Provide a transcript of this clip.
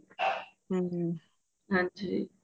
ਹਮ ਹਾਂਜੀ